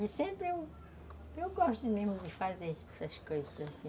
De sempre eu gosto mesmo de fazer essas coisas, assim.